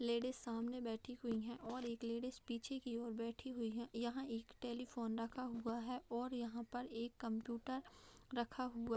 Ladies सामने बैठी हुई है और एक लेडीज पीछे की और बैठी हुई है। यहाँ एक टेलीफोन रखा हुआ है और यहाँ पर एक कंप्यूटर रखा हुआ --